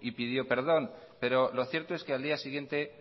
y pidió perdón pero lo cierto es que al día siguiente